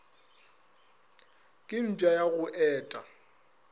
ke mpša ya go eta